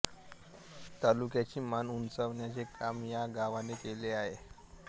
तालुक्याची मान उंचावण्याचे काम या गावाने केली आहे